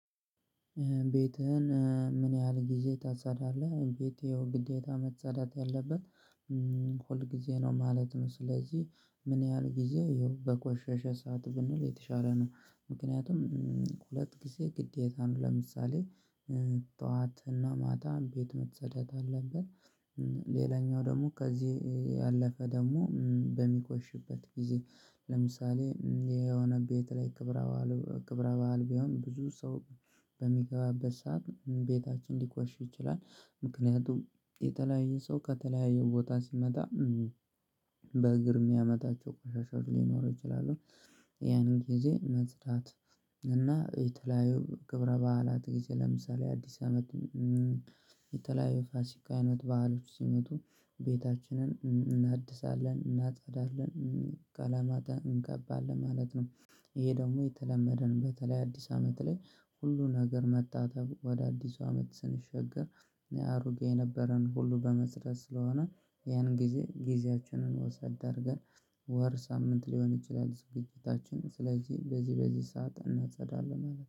ቤትህን ምን ያህል ጊዜ ታጸዳለህ ቤቴ ያው ግዴታ መጸዳት ያለበት ሁል ጊዜ ነው ማለት ነው። ስለዚህ ምን ያህል ጊዜ ይኸው በቆሸሸ ሰዓት ብንል የተሻለ ነው። ምክንያቱም ሁለት ጊዜ ግዴታ ነው ለምሳሌ ጠዋት እና ማታ ቤት መጸዳት አለበት። ሌላኛው ደግሞ ከዚህ ያለፈ ደግሞ በሚቆሽበት ጊዜ። ለምሳሌ የሆነ ቤት ላይ ክብረ በዓል ቢሆን ብዙ ሰው በሚገባበት ሰዓት ቤታችን ሊቆሽ ይችላል። ምክንያቱም የተለያየ ሰው ከተለያየ ቦታ ሲመጣ በእግር የሚያመጣቸው ቆሻሻዎች ሊኖረው ይችላሉ። ያንን ጊዜ መጽዳት እና የተለያዩ ክብረ በዓላት ጊዜ ለምሳሌ አዲስ አመት። የተለያዩ ፋሲካ አይነት ባህሎች ሲመጡ ቤታችንን እናድሳለን እናጸዳለን ቀለም እንቀባለን ማለት ነው። ይሄ ደግሞ የተለመደን በተለይ አዲስ አመት ላይ ሁሉን ነገር መጣጣም ወደ አዲሱ አመት ስንሻገር። እኔ አሮጌ የነበረን ሁሉ በመስረት ስለሆነ ያን ጊዜ ጊዜያችንን ወሰድ አድርገን ወር ሳምንት ሊሆን ይችላል ዝግጅታችን ስለዚህ በዚህ በዚህ ሰዓት እናጸዳለን አለ